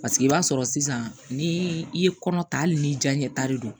Paseke i b'a sɔrɔ sisan ni i ye kɔnɔ ta hali ni diya ɲɛ ta de don